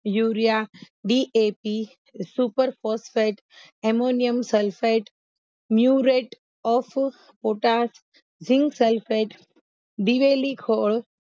urea DAP super phosphate ammonium sulphate muriate of potash zinc sulphate દિવેલી ખોળ